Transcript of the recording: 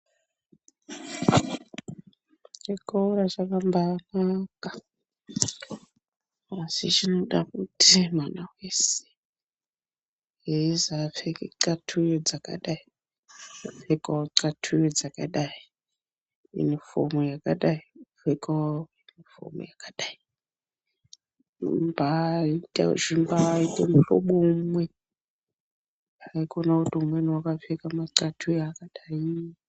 Chikora chakambanaka asi chinoda kuti mwana weshe eizi apfeke thatuyo dzakadai pfekawo thatuyo dzakadai yunifomi yakadai opfekawo yunifomu yakadai zvimbaite muhlobo umwe haikona kuti umweni wakapfeka mathatuyo akadai